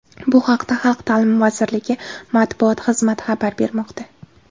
Bu haqda Xalq ta’limi vazirligi matbuot xizmati xabar bermoqda.